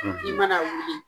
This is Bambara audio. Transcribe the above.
I mana wuli